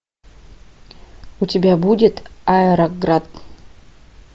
у тебя будет аэроград